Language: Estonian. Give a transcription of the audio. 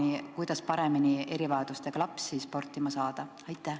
Kas on olemas plaan, kuidas erivajadustega laps paremini sportima saada?